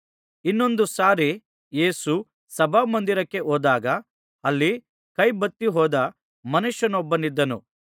ಇನ್ನೊಂದು ಸಾರಿ ಯೇಸು ಸಭಾಮಂದಿರಕ್ಕೆ ಹೋದಾಗ ಅಲ್ಲಿ ಕೈ ಬತ್ತಿಹೋದ ಮನುಷ್ಯನೊಬ್ಬನಿದ್ದನು